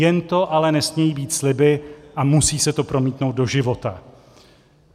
Jen to ale nesmějí být sliby a musí se to promítnout do života.